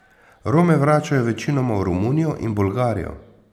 Rome vračajo večinoma v Romunijo in Bolgarijo.